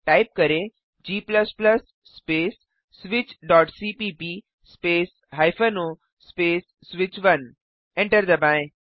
type करें g space switchसीपीप space o space स्विच1 एंटर दबाएँ